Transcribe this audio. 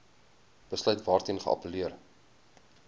besluit waarteen geappelleer